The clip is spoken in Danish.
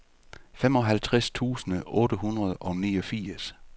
femoghalvtreds tusind otte hundrede og niogfirs